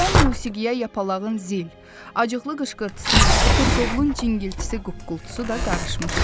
Bu şən musiqiyə yapağının zil, acıqlı qışqırtısı ilə qırqovulun cingiltisi quqqultusu da qarışmışdı.